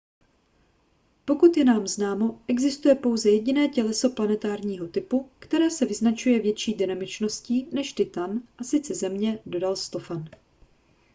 pokud je nám známo existuje pouze jediné těleso planetárního typu které se vyznačuje větší dynamičností než titan a sice země dodal stofan